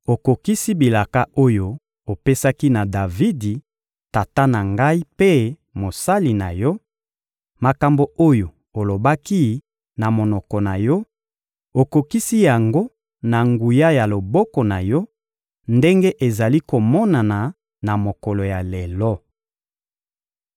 Okokisi bilaka oyo opesaki na Davidi, tata na ngai mpe mosali na Yo; makambo oyo olobaki, na monoko na Yo, okokisi yango na nguya ya loboko na Yo, ndenge ezali komonana na mokolo ya lelo.